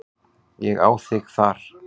Ég á þig þar.